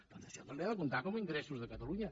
per tant això també ha de comptar com a ingressos de catalunya